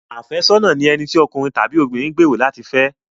Àfẹ́sọ́nà ni ẹni tí okùnrin tàbí obìnrin gbèrò láti fẹ́.